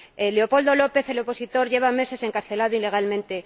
Leopoldo López, el opositor, lleva meses encarcelado ilegalmente.